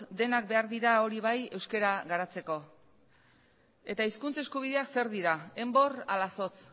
denak behar dira hori bai euskera garatzeko eta hizkuntza eskubideak zer dira enbor ala zotz